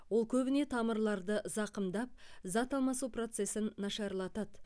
ол көбіне тамырларды зақымдап зат алмасу процесін нашарлатады